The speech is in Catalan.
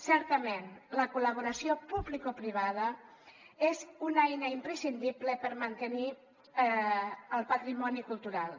certament la col·laboració publicoprivada és una eina imprescindible per mantenir el patrimoni cultural